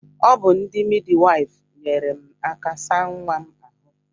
Ọ bụ ndị midwafu nyere m aka saa nwa m ahụ